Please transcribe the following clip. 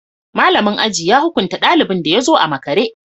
Malamin aji ya hukunta dalibin da ya zo a makare